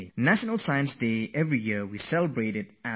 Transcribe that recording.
Every year this day is observed on 28th February